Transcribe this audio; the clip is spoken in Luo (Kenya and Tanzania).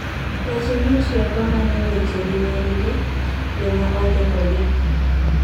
weche mitiyogo manyo weche gi nyinggi, jomaondikogi